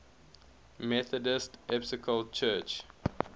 methodist episcopal church